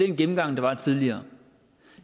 den gennemgang der var tidligere